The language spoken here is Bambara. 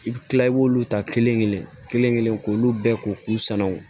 I bi kila i b'olu ta kelen kelen kelen k'olu bɛɛ ko k'u sanu